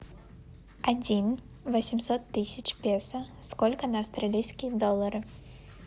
один восемьсот тысяч песо сколько на австралийские доллары